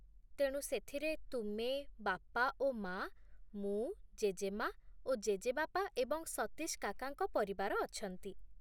ତେଣୁ ସେଥିରେ ତୁମେ, ବାପା ଓ ମା, ମୁଁ, ଜେଜେମା ଓ ଜେଜେବାପା ଏବଂ ସତୀଶ କାକାଙ୍କ ପରିବାର ଅଛନ୍ତି।